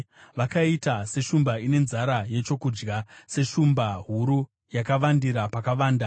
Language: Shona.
Vakaita seshumba ine nzara yechokudya, seshumba huru yakavandira pakavanda.